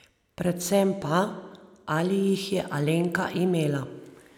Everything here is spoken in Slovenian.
Predvsem pa, ali jih je Alenka imela?